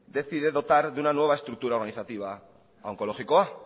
decide dotar de una nueva estructura organizativa a onkologikoa